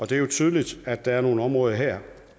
det er jo tydeligt at der er nogle områder her